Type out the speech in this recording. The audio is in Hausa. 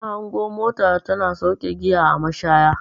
Na hango mota tana sauke giya a mashaya.